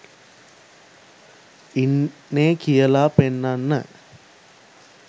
ඉන්නෙ කියලා පෙන්නන්න